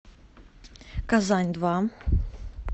казань два